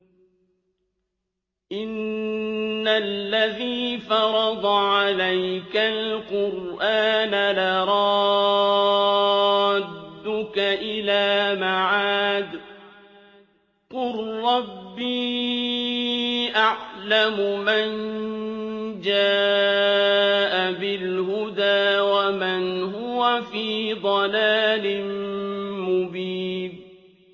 إِنَّ الَّذِي فَرَضَ عَلَيْكَ الْقُرْآنَ لَرَادُّكَ إِلَىٰ مَعَادٍ ۚ قُل رَّبِّي أَعْلَمُ مَن جَاءَ بِالْهُدَىٰ وَمَنْ هُوَ فِي ضَلَالٍ مُّبِينٍ